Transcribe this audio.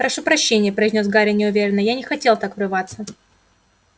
прошу прощения произнёс гарри неуверенно я не хотел так врываться